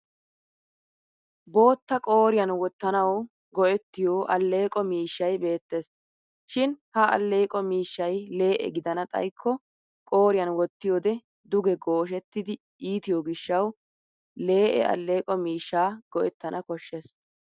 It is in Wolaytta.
Bootta qooriyan wottanawu go'ettiyo alleeqo miishshay beettes. Shin ha alleeqo miishshay lee'e gidana xayikko qooriyan wottiyoode duge gooshshettidi iitiyo gishshawu lee'e alleeqo miishshaa go'ettana koshshes.